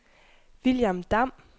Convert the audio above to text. William Damm